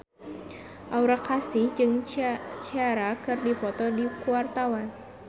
Aura Kasih jeung Ciara keur dipoto ku wartawan